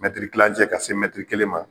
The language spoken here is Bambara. tilancɛ ka se kelen ma